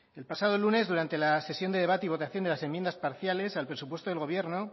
el pasado lunes durante la sesión de debate y votación de las enmiendas parciales al presupuesto del gobierno